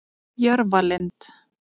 Jörfalind